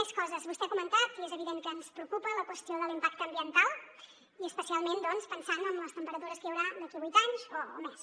més coses vostè ha comentat i és evident que ens preocupa la qüestió de l’impacte ambiental i especialment doncs pensant en les temperatures que hi haurà d’aquí vuit anys o més